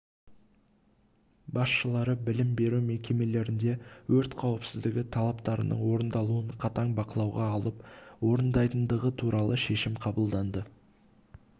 басшылары білім беру мекемелерінде өрт қауіпсіздігі талаптарының орындалуын қатаң бақылауға алып орындайтындығы туралы шешім қабылданды